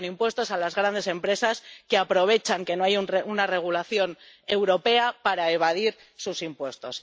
y con impuestos a las grandes empresas que aprovechan que no hay una regulación europea para evadir sus impuestos.